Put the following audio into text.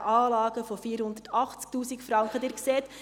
Die sanitären Anlagen sind mit 480 000 Franken veranschlagt.